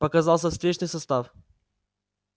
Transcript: показался встречный состав